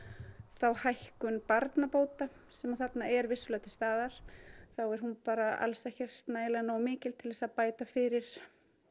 þá hækkun barnabóta sem þarna er vissulega til staðar þá er hún bara alls ekki nógu mikil til þess að bæta fyrir